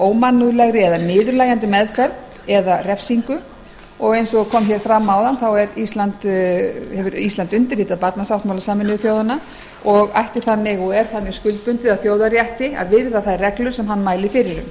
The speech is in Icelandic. ómannúðlegri eða niðurlægjandi meðferð eða refsingu ísland hefur undirritað barnasáttmála sameinuðu þjóðanna og er þannig bundið að þjóðarétti til að virða reglur þær sem hann mælir fyrir